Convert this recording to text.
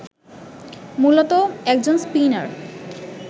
মূলতঃ একজন স্পিনার